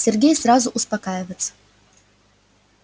сергей сразу успокаивается